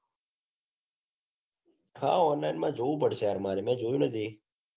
હા online માં જોવું પડશે યાર મારે મેં જોયું નથી.